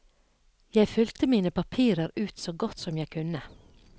Jeg fylte mine papirer ut så godt som jeg kunne.